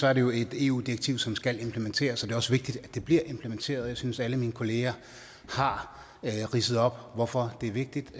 er det jo et eu direktiv som skal implementeres det er også vigtigt at det bliver implementeret jeg synes at alle mine kollegaer har ridset op hvorfor det er vigtigt